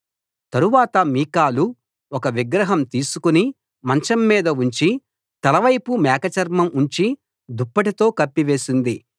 తరువాత మీకాలు ఒక విగ్రహం తీసుకు మంచంమీద ఉంచి తలవైపు మేక చర్మం ఉంచి దుప్పటితో కప్పివేసింది